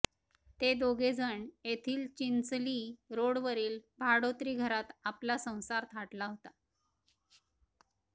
ते दोघेजण येथील चिंचली रोडवरील भाडोत्री घरात आपला संसार थाटला होता